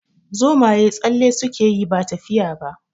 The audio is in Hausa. Zomaye tsalle suke yi ba tafiya ba.